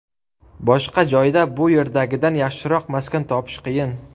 Boshqa joyda bu yerdagidan yaxshiroq maskan topish qiyin.